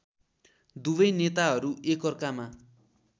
दुवै नेताहरू एकअर्कामा